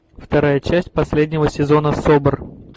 вторая часть последнего сезона собр